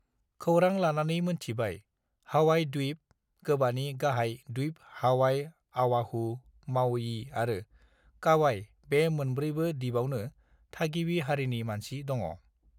खौरां लानानै मोनथिबाय हावाइ द्विप गोबानि गाहाय द्विप हावाइ अवाहु मावयी आरो कावाइ बे मोनब्रैबो दिबावनो थागिबि हारिनि मानसि दङ